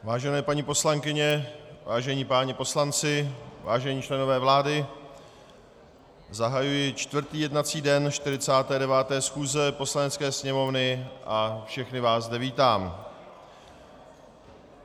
Vážené paní poslankyně, vážení páni poslanci, vážení členové vlády, zahajuji čtvrtý jednací den 49. schůze Poslanecké sněmovny a všechny vás zde vítám.